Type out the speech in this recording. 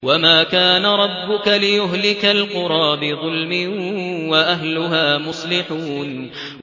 وَمَا كَانَ رَبُّكَ لِيُهْلِكَ الْقُرَىٰ بِظُلْمٍ وَأَهْلُهَا مُصْلِحُونَ